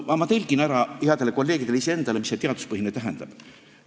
Aga ma tõlgin ära headele kolleegidele ja iseendale, mis see teaduspõhine tähendab.